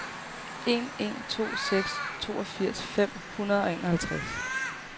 en en to seks toogfirs fem hundrede og enoghalvtreds